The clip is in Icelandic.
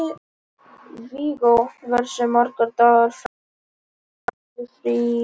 Viggó, hversu margir dagar fram að næsta fríi?